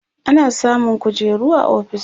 ana samun kujeru a ofis